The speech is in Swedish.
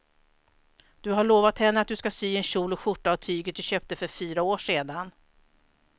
Du har lovat henne att du ska sy en kjol och skjorta av tyget du köpte för fyra år sedan.